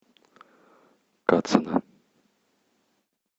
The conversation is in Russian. кацина